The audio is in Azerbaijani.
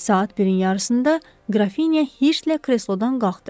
Saat birin yarısında Grafinya heç nədən kreslodan qalxdı.